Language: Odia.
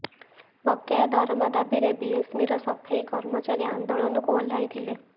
ବକେୟା ଦରମା ଦାବିରେ ବିଏମ୍ସିର ସଫେଇ କର୍ମଚାରୀ ଆନ୍ଦୋଳନକୁ ଓହ୍ଲାଇଥିଲେ